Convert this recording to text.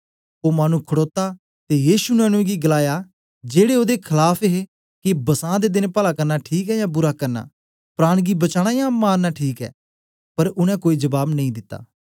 ओ मानु खडोता ते यीशु ने उनेंगी गलाया जेड़े ओदे खलाफ हे के बसां दे देन पला करना ठीक ऐ यां बुरा करना प्राण गी बचाना यां मारना ठीक ऐ पर उनै कोई जबाब नेई दित्ता